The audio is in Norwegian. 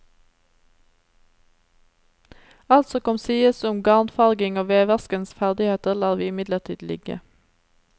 Alt som kan sies om garn farging og veverskens ferdigheter, lar vi imidlertid ligge.